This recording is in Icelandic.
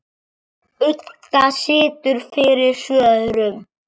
Budda situr fyrir svörum.